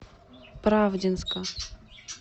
правдинска